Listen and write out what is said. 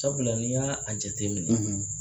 Sabula n i y'a a jate minɛ